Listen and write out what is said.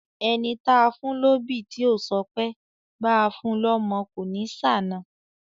Ẹni táa fún lóbì tí ò ṣọpẹ́, báa fun lọ́mọ kò ní ṣàna.